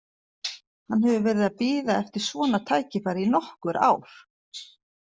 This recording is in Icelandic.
Hann hefur verið að bíða eftir svona tækifæri í nokkur ár.